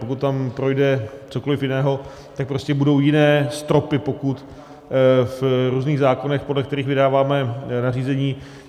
Pokud tam projde cokoliv jiného, tak prostě budou jiné stropy pokut v různých zákonech, podle kterých vydáváme nařízení.